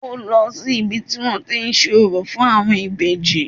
Ó lọ sí ibi tí wọ́n tí ń ṣe orò fún àwọn ìbejì